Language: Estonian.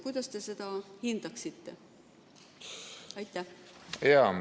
Kuidas te seda hindaksite?